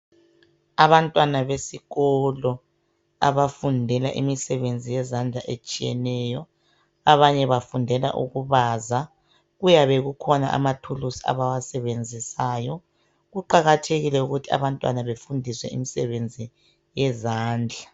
Abantwana besikolo ,abafundela imisebenzi yezandla etshiyeneyo. Abanye bafundela ukubaza ,kuyabe kukhona amathulusi abawasebenzisayo . Kuqakathekile ukuthi abantwana befundiswe imisebenzi yezandla.